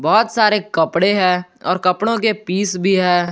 बहोत सारे कपड़े हैं और कपड़ों के पीस भी है।